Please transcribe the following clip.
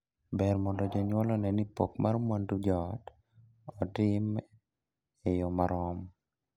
Ber mondo jonyuol onee ni pok mar mwandu joot otime e yoo marom.